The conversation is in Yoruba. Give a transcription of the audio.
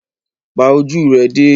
Pa ojú rẹ dé!